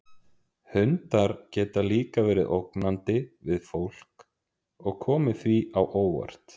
Hundar geta líka verið ógnandi við fólk og komið því á óvart.